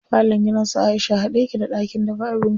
Falon gidan su Aisha haɗe yake da ɗakin dafa abinci.